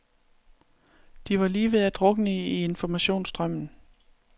De var lige ved at drukne i informationsstrømmen.